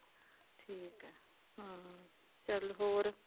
ਠੀਕ ਹੈ ਹਾਂ ਚੱਲ ਹੋਰ